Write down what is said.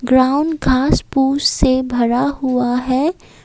Ground घास पूस से भरा हुआ है।